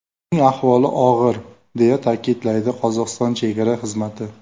Uning ahvoli og‘ir”, deya ta’kidlaydi Qozog‘iston Chegara xizmati.